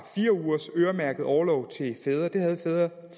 fire ugers øremærket orlov til fædre det havde fædre